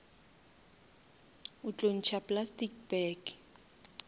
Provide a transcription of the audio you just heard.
o tlo ntšha plastic bag